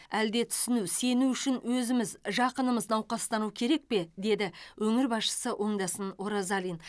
әлде түсіну сену үшін өзіміз жақынымыз науқастану керек пе деді өңір басшысы оңдасын оразалин